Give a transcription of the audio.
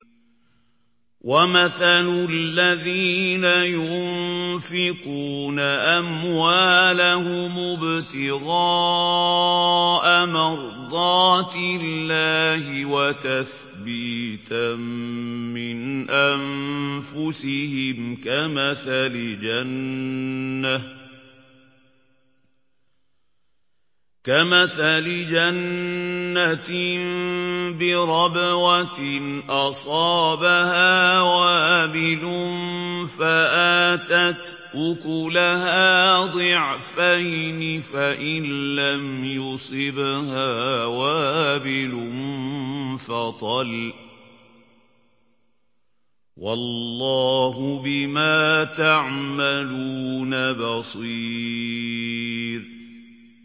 وَمَثَلُ الَّذِينَ يُنفِقُونَ أَمْوَالَهُمُ ابْتِغَاءَ مَرْضَاتِ اللَّهِ وَتَثْبِيتًا مِّنْ أَنفُسِهِمْ كَمَثَلِ جَنَّةٍ بِرَبْوَةٍ أَصَابَهَا وَابِلٌ فَآتَتْ أُكُلَهَا ضِعْفَيْنِ فَإِن لَّمْ يُصِبْهَا وَابِلٌ فَطَلٌّ ۗ وَاللَّهُ بِمَا تَعْمَلُونَ بَصِيرٌ